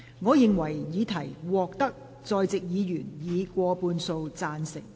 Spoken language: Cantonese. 我認為議題獲得在席議員以過半數贊成。